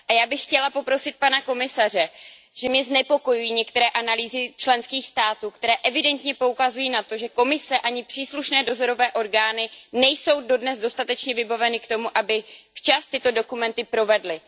Já bych chtěla poprosit pana komisaře, znepokojují mě některé analýzy členských států, které evidentně poukazují na to, že Komise, ani příslušné dozorové orgány nejsou dodnes dostatečně vybaveny k tomu, aby včas tyto dokument provedly.